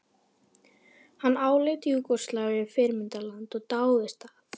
Hann áleit Júgóslavíu fyrirmyndarland og dáðist að